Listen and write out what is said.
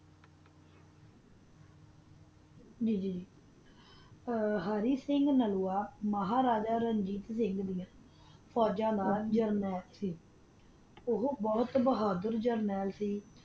ੱਗ ਅਰਾਤ੍ਸਿੰਘ ਨਲੂਆ ਮਹਾਰਾਜਾ ਰਣਜੀਤ ਸਿੰਘ ਦੀ ਫੋਜਾ ਨਾਲ ਓਹੋ ਬੋਹਤ ਬੋਹਾਦਰ ਜਰਨਲ ਸੀ